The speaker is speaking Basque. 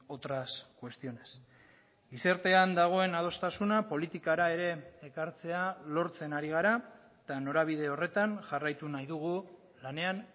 otras cuestiones gizartean dagoen adostasuna politikara ere ekartzea lortzen ari gara eta norabide horretan jarraitu nahi dugu lanean